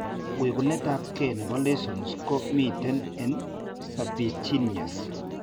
Wegunet ab kee nebo lessions ko miten en serpiginous